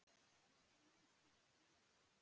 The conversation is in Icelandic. Svo það var mikið stuð.